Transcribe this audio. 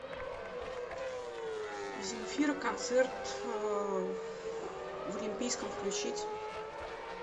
земфира концерт в олимпийском включить